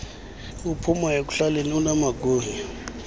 aphuma ekuhlaleni anamagunya